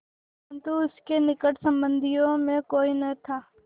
परन्तु उसके निकट संबंधियों में कोई न था